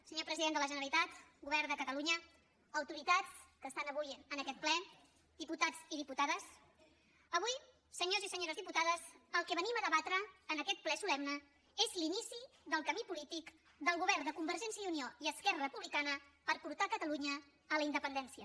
senyor president de la generalitat govern de catalunya autoritats que estan avui en aquest ple diputats i diputades avui senyors i senyores diputades el que venim a debatre en aquest ple solemne és l’inici del camí polític del govern de convergència i unió i esquerra republicana per portar catalunya a la independència